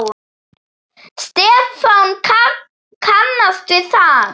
Stefán kannast við það.